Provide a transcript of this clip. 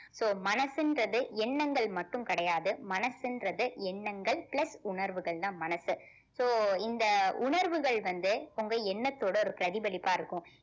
so மனசுன்றது எண்ணங்கள் மட்டும் கிடையாது மனசுன்றது எண்ணங்கள் plus உணர்வுகள்தான் மனசு so இந்த உணர்வுகள் வந்து உங்க எண்ணைத்தோட ஒரு பிரதிபலிப்பா இருக்கும்